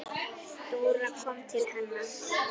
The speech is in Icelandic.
Dóra kom til hennar.